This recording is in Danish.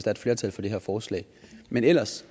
er et flertal for det her forslag men ellers